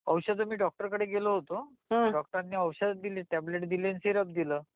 औषध मी डॉक्टर कडे गेलो होतो डॉक्टरांनी औषध दिले टॅबलेट दिले अन सिरप दिले